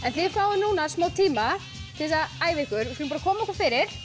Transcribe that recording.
þið fáið núna smá tíma til þess að æfa ykkur við skulum koma okkur fyrir